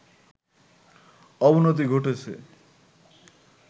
অবনতি ঘটেছে